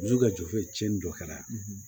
Muso ka jofo ye tiɲɛni dɔ kɛra